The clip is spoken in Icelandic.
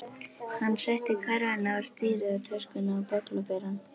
Hann setti körfuna á stýrið og töskuna á bögglaberann.